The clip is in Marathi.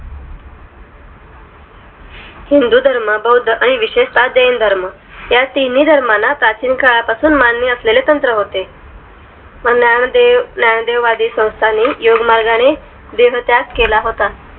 हिंदू धर्म बौद्ध आणि विशेषता जैन धर्म ह्या तीनही धर्माना प्राचीन काळापासून मान्य असलेले तंत्र होते ज्ञानदेव ज्ञानदेवादी सौंस्थानी योगमार्गाने देहत्याग केला होता